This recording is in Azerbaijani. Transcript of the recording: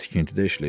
tikintidə işləyirəm.